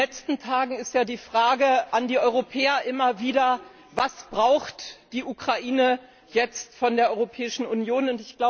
In den letzten Tagen ist ja die Frage an die Europäer immer wieder Was braucht die Ukraine jetzt von der Europäischen Union?